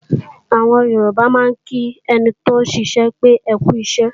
Àwọn Yorùbá máa ń kí ẹni tóún ṣiṣẹ́ pé "ẹkú iṣẹ́"